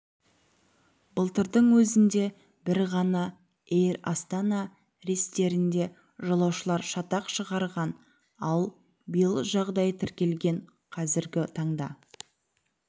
былтырдың өзінде бір ғана эйр астана рейстерінде жолаушылар шатақ шығарған ал биыл жағдай тіркелген қазіргі таңда